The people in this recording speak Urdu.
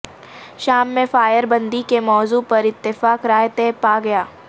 شام میں فائر بندی کے موضوع پر اتفاق رائے طے پا گیا